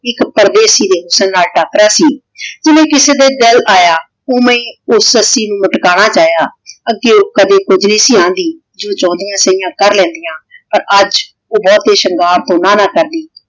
ਏਇਕ ਪਰਦੇਸੀ ਦੇ ਹੁਸਨ ਨਾਲ ਟਕਰਾ ਸੀ ਹਨੀ ਕਿਸੇ ਤੇ ਦਿਲ ਆਯਾ ਓਵੇਂ ਊ ਸੱਸੀ ਨੂ ਮਾਤ੍ਕਾਨਾ ਚਾਹ੍ਯਾ ਅਗ੍ਯੋੰ ਕਦੇ ਕੁਜ ਨਹੀ ਸੀ ਆਂਡਿ ਜੋ ਚੌਨ੍ਦਿਯਾਂ ਸੈਯਾਂ ਕਰ ਲੈਨ੍ਦੀਯਾਂ ਪਰ ਆਜ ਊ ਬੋਹਤ ਈ ਸ਼ੰਗਾਰ ਤੋਂ ਨਾ ਨਾ ਕਰਦੀ